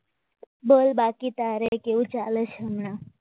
બોલ બાકી તારે કેવું ચાલે હમણા